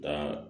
Taa